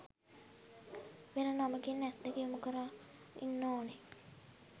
වෙන නමකින් ඇස් දෙක යොමු කරන් ඉන්න ඕන